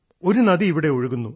ഒരു നദി ഇവിടെ ഒഴുകുന്നു